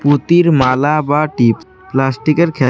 মতির মালা বা টিপ প্লাস্টিকের খেল--